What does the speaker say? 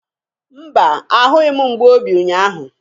Mba, ahụghị m mgbu obi ụnyaahụ.